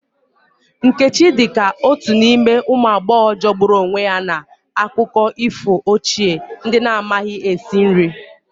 Nkechi dị ka otu n'ime ụmụ agbọghọ jọgburu onwe ya n'akụkọ ifo ochie, ndị na-amaghị esi esi nri.